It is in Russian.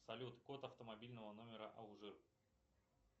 салют код автомобильного номера алжир